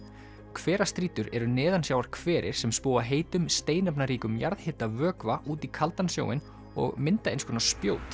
hverastrýtur eru sem spúa heitum steinefnaríkum jarðhitavökva út í kaldan sjóinn og mynda einskonar spjót